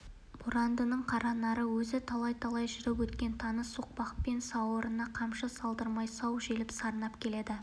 борандының қаранары өзі талай-талай жүріп өткен таныс соқпақпен сауырына қамшы салдырмай сау желіп сарнап келеді